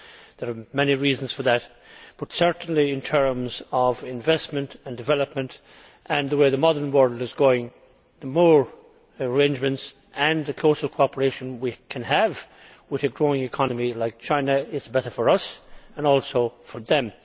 There are many reasons for that, but certainly in terms of investment and development and the way the modern world is going, the more arrangements and the closer cooperation we can have with a growing economy like China, the better it is for us and also for them.